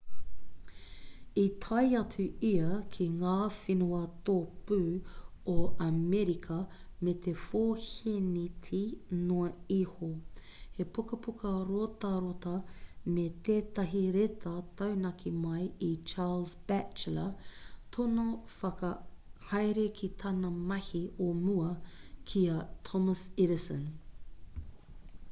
i tae atu ia ki ngā whenua tōpū o amerika me te 4 hēneti noa iho he pukapuka rotarota me tētahi reta taunaki mai i charles batchelor tōna kaiwhakahaere ki tāna mahi o mua ki a thomas edison